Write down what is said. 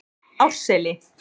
Árseli